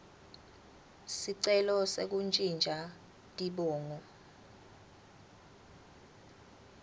sicelo sekuntjintja tibongo